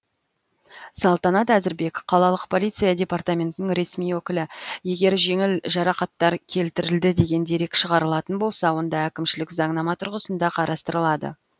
салтанат әзірбек қалалық полиция департаментінің ресми өкілі егер жеңіл жарақаттар келтірілді деген дерек шығарылатын болса онда әкімшілік заңнама тұрғысында қарастырылады